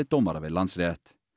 dómara við Landsrétt